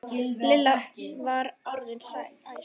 Lilla var orðin æst.